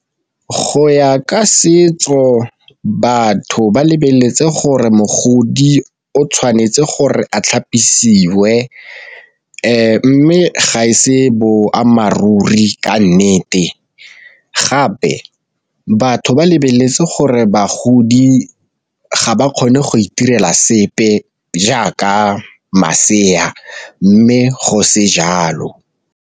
Go ya ka setso batho ba lebeletse gore mogodi o tshwanetse gore a tlhapisiwe, mme ga e se boammaaruri ka nnete gape batho ba lebeletse gore bagodi ga ba kgone go itirela sepe jaaka masea mme go se jalo.